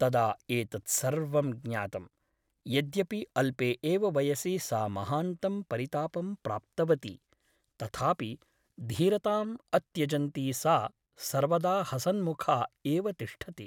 तदा एतत्सर्वं ज्ञातम् । यद्यपि अल्पे एव वयसि सा महान्तं परितापं प्राप्तवती , तथापि धीरताम् अत्यजन्ती सा सर्वदा हसन्मुखा एव तिष्ठति ।